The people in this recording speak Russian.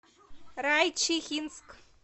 райчихинск